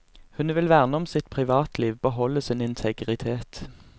Hun vil verne om sitt privatliv, beholde sin integritet.